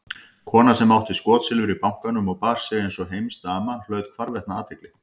Kona sem átti skotsilfur í bankanum og bar sig einsog heimsdama hlaut hvarvetna athygli.